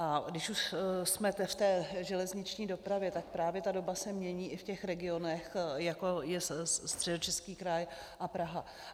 A když už jsme v té železniční dopravě, tak právě ta doba se mění i v těch regionech, jako je Středočeský kraj a Praha.